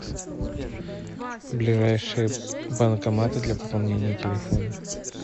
ближайшие банкоматы для пополнения телефона